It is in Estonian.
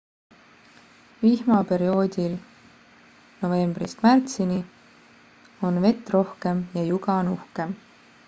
vihmaperioodil novembrist märtsini on vett rohkem ja juga on uhkem